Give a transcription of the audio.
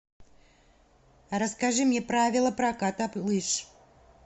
расскажи мне правила проката лыж